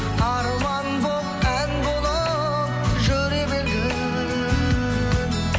арман болып ән болып жүре бергін